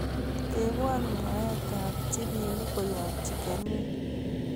tebwon mwaet ab jibini koyob chicken inn